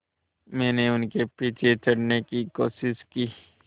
मैंने उनके पीछे चढ़ने की कोशिश की